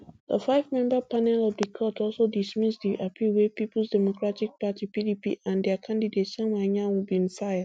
di fivemember panel of di court also dismiss di appeal wey peoples democratic party pdp and dia candidate samuel anyanwu bin file